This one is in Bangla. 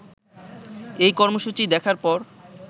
এই কর্মসূচি দেখার পর